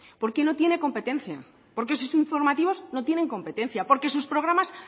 porque no tiene competencia porque sus informativos no tienen competencia porque sus programas